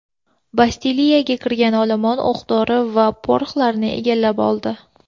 Bastiliyaga kirgan olomon o‘q-dori va poroxlarni egallab oldi.